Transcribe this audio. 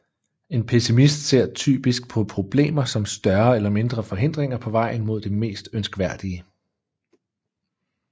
En pessimist ser typisk på problemer som større eller mindre forhindringer på vejen mod det mest ønskværdige